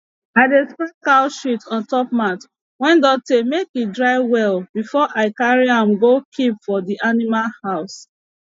i dey spread cow shit on top mat wey don tey make e dry well before i carry am go keep for the animal house